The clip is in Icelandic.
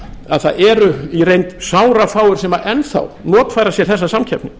að það eru í reynd sárafáir sem enn þá notfæra sér þessa samkeppni